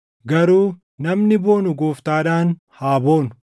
Garuu, “Namni boonu Gooftaadhaan haa boonu.” + 10:17 \+xt Erm 9:24\+xt*